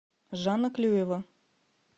жанна клюева